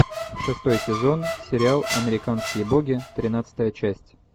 шестой сезон сериал американские боги тринадцатая часть